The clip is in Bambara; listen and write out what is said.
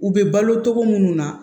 U bɛ balo togo munnu na